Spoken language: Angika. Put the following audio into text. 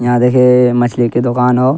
यहां देखे अअ मछली के दोकान हो।